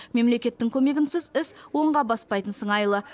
мемлекеттің көмегінсіз іс оңға баспайтын сыңайлы